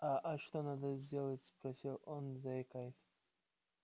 а а что надо сделать спросил он заикаясь